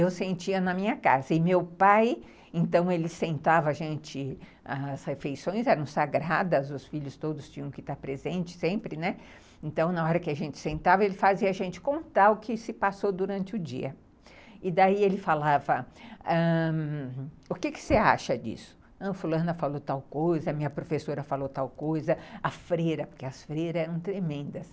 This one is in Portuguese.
Eu sentia na minha casa. E meu pai, então ele sentava a gente, as refeições eram sagradas, os filhos todos tinham que estar presentes, sempre, né. Então na hora que a gente sentava, ele fazia a gente contar o que se passou durante o dia. E daí ele falava ãh... O que você acha disso? Não, fulana falou tal coisa, minha professora falou tal coisa a freira, porque as freiras eram tremendas